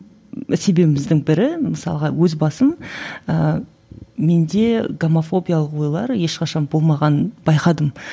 себебіміздің бірі мысалға өз басым ыыы менде гомофобиялық ойлар ешқашан болмағанын байқадым